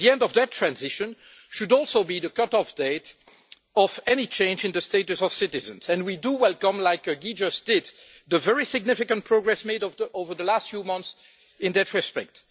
The end of that transition should also be the cut off date of any change in the status of citizens, and we do welcome, as Guy just did, the very significant progress made over the last few months in that respect.